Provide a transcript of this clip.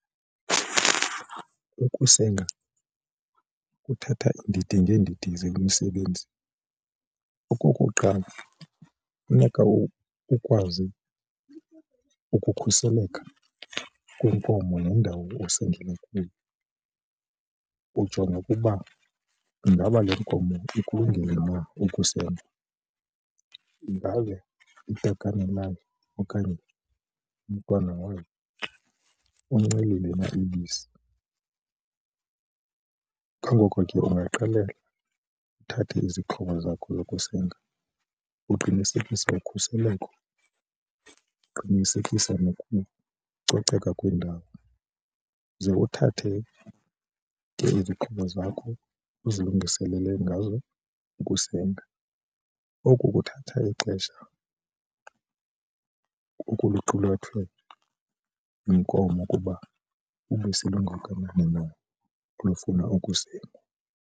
Ukusenga kuthatha iindidi ngeendidi zemisebenzi. Okokuqala, funeka ukwazi ukukhuseleka kwenkomo nendawo osengela kuyo ujonge ukuba ingaba le nkomo ikulungele na ukusengwa, ingabe itakane lakhe okanye umntwana lowo uncelile na ibisi, kungoko ke ungaqala uthathe izixhobo zakho zokusenga uqinisekise ukhuseleko. Qinisekisa nokucoceka kwendawo ze uthathe izixhobo zakho uzilungiselele ngazo ukusenga. Oku kuthatha ixesha okuluqulathwe yinkomo ukuba ubisi lungakanani na olufuna ukusengwa.